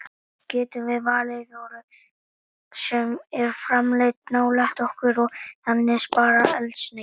Getum við valið vöru sem er framleidd nálægt okkur og þannig sparað eldsneyti?